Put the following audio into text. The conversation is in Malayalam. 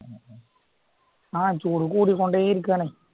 ആ ചൂട് കൂടിക്കൊണ്ടേ ഇരിക്കുവാണേ